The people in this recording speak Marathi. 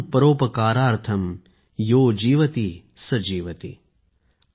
परम् परोपकारार्थम् यो जीवति स जीवति ।।